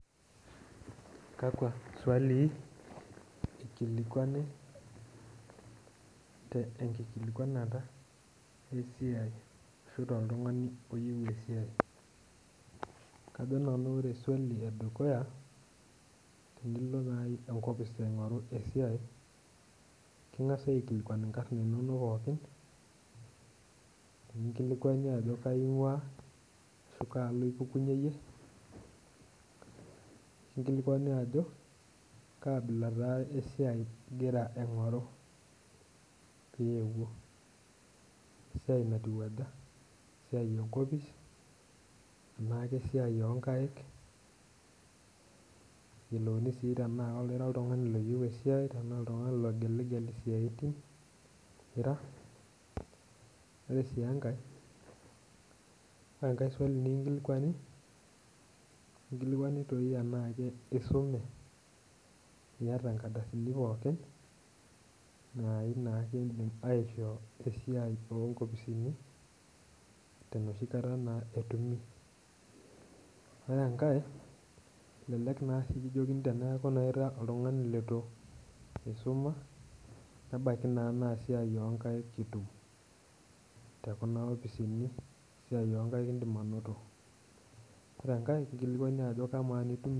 Kajo nan ore esiai edukuya tenilo naa enkopis aing'oru esiai keng'as aikilikuanu inkar inonok pookin nikinkilikuani ajo kaji ing'uaa ashu kaalo ipukunyie iyie nikinkilikuanj ajo kaabila esiai ingira aing'oru piyeuo kesiai natiu aja esiai enkopis enaa kesiai oonkaik neyeiolouni sii tenaa ira oltung'ani leyieu esiiai tenaa oltung'ani logeligel isiaitin ore sii enkae ore enkae swali nikinkilikuani ekinkilikuanj doi tenaa isume iyata inkardasini pookin naai naa tenaa ekindimi aishoo tenoshi kata aa ore enkae elelek naa eeku ore paa ira oltung'ani leitu eisuma neibaiki naa na esiai oonkaik itum tekuna opisini ore enkae